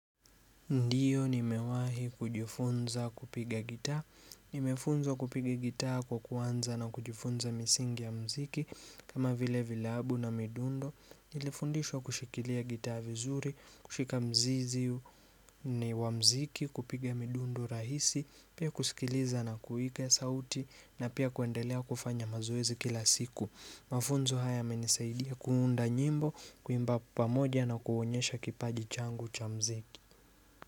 Ndiyo nimewahi kujifunza kupiga gitaa, nimefunzwa kupiga gitaa kwa kuanza na kujifunza misingi ya mziki kama vile vile abu na midundo. Nilifundishwa kushikilia gitaa vizuri, kushika mzizi wa mziki, kupiga midundo rahisi, pia kusikiliza na kuiga sauti na pia kuendelea kufanya mazoezi kila siku Mafunzo haya yamenisaidia kuunda nyimbo, kuimba pamoja na kuonyesha kipaji changu cha mziki.